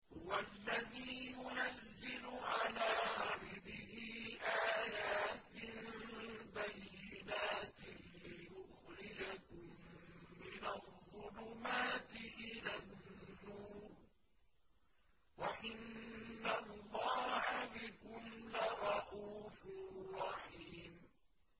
هُوَ الَّذِي يُنَزِّلُ عَلَىٰ عَبْدِهِ آيَاتٍ بَيِّنَاتٍ لِّيُخْرِجَكُم مِّنَ الظُّلُمَاتِ إِلَى النُّورِ ۚ وَإِنَّ اللَّهَ بِكُمْ لَرَءُوفٌ رَّحِيمٌ